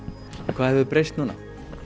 hvað hefur breyst núna